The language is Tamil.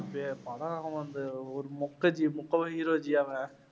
அது படம் வந்து ஒரு மொக்கை ஜி hero ஜி அவன்